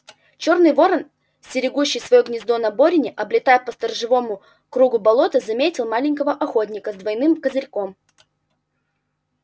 чёрный ворон стерегущий своё гнездо на борине облетая по сторожевому кругу болото заметил маленького охотника с двойным козырьком